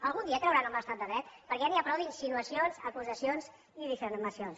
algun dia creuran en l’estat de dret perquè ja n’hi ha prou d’insinuacions acusacions i difamacions